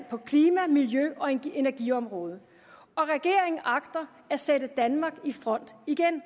for klima miljø og energiområdet og regeringen agter at sætte danmark i front igen